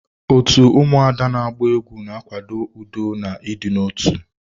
Otu ụmụada na agba egwu ga akwado udo na idina otu.